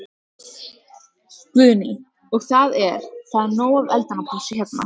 Guðný: Og það er, það er nóg af eldunarplássi hérna?